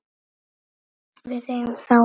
Við eigum þá öll.